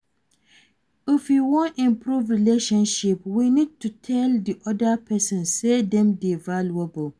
If we wan improve relationship we need to tell di oda person sey dem dey valuable